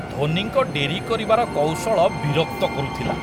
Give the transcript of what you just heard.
ଧୋନିଙ୍କ ଡେରି କରିବାର କୌଶଳ ବିରକ୍ତ କରୁଥିଲା।